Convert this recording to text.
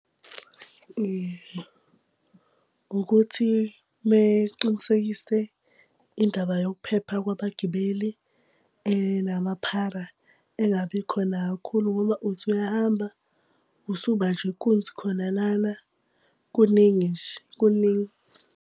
Ukuthi mele qinisekise indaba yokuphepha kwabagibeli, namaphara engabi khona kakhulu ngoba uthi uyahamba, usubanjwa inkunzi khona lana. Kuningi nje kuningi.